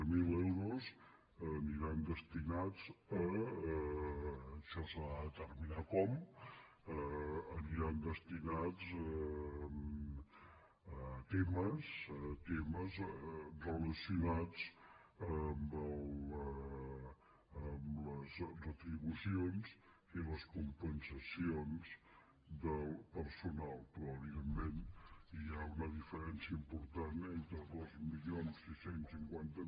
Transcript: zero euros aniran destinats això s’ha de determinar com a temes relacionats amb les retribucions i les compensacions del personal però evidentment hi ha una diferència important entre dos mil sis cents i cinquanta